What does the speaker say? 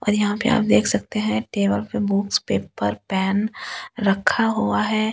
और यहाँ पे आप देख सकते है टेबल पे बुक्स पेपर पेन रखा हुआ है ऊपर।